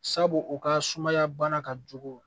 Sabu u ka sumaya bana ka jugu